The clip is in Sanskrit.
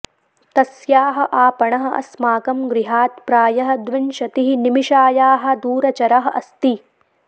तस्याः आपणः अस्माकं गृहात् प्रायः द्विंशतिः निमिषायाः दूरचरः अस्ति